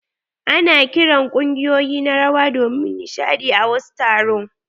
Ana kiran kungiƴoyi na rawa domin nishaɗi a wasu taro.